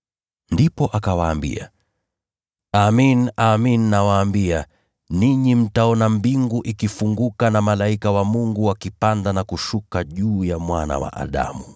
Ndipo akawaambia, “Amin, amin nawaambia, ninyi mtaona mbingu ikifunguka na malaika wa Mungu wakipanda na kushuka juu ya Mwana wa Adamu.”